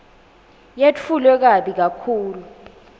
yetfulwe kabi kakhulu